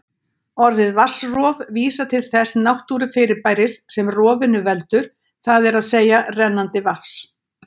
Orðið vatnsrof vísar til þess náttúrufyrirbæris sem rofinu veldur, það er að segja rennandi vatns.